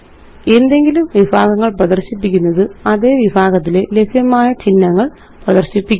എന്തെങ്കിലും വിഭാഗങ്ങള് പ്രദര്ശിപ്പിക്കുന്നത് അതേ വിഭാഗത്തിലെ ലഭ്യമായ ചിഹ്നങ്ങള് പ്രദര്ശിപ്പിക്കും